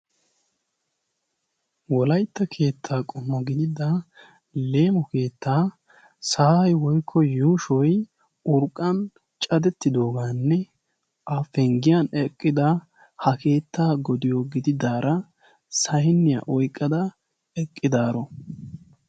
wolaytta keettaa qumo gidida leemo keettaa sa'ay woykko yuushoy urqqan cadettidoogaanne a penggiyan eqqida ha keettaa godiyo gididaara saynniyaa oyqqada eqqidaaro